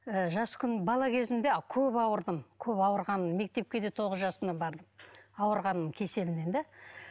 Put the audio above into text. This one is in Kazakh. ы жас күн бала кезімде көп ауырдым көп ауырғанмын мектепке де тоғыз жасымнан бардым ауырғанның кеселімнен де